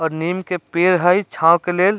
और नीम के पेड़ हई छाव के लेल --